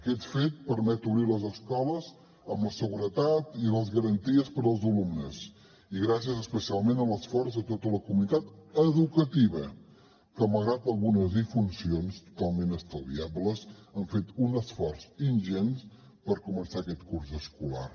aquest fet permet obrir les escoles amb la seguretat i les garanties per als alumnes i gràcies especialment a l’esforç de tota la comunitat educativa que malgrat algunes disfuncions totalment estalviables han fet un esforç ingent per començar aquest curs escolar